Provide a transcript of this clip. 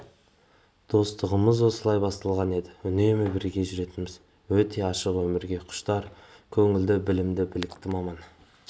достығымыз осылай басталған еді үнемі бірге жүретінбіз өте ашық өмірге құштар көңілді білімді білікті маман